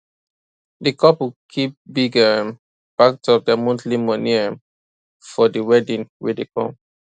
the couple keep big um part of their monthly moni um for the wedding wey dey come